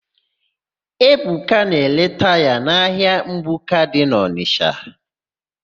Ebuka na-ere taya n'ahịa mgbuka dị n'Ọnịsha.